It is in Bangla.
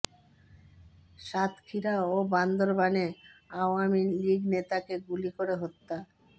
সাতক্ষীরা ও বান্দরবানে আওয়ামী লীগ নেতাকে গুলি করে হত্যা